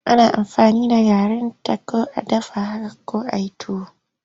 Ana aamfani da garinta ko a dafa haka ko a yi tuwo.